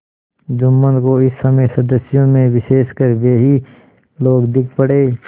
जुम्मन को इस समय सदस्यों में विशेषकर वे ही लोग दीख पड़े